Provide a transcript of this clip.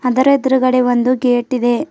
Other ಎದುರ್ಗಡೆ ಒಂದು gate ಇದೆ.